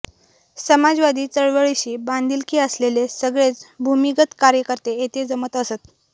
समाजवादी चळवळीशी बांधिलकी असलेले सगळेच भूमिगत कार्यकर्ते येथे जमत असत